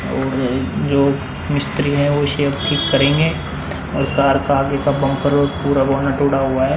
और जो मिस्त्री है वो करेंगे और कार का आगे का बम्पर है और पूरा बोनट टूटा हुआ है।